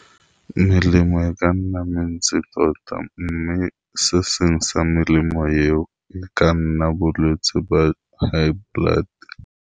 Melemo e ka nna mentsi tota, mme se seng sa melemo eo e ka nna bolwetse ba high blood.